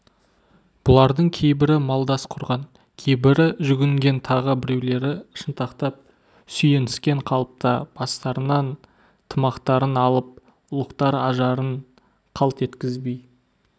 бұлардың кейбірі малдас құрған кейбірі жүгінген тағы біреулері шынтақтап сүйеніскен қалыпта бастарынан тымақтарын алып ұлықтар ажарын қалт еткізбей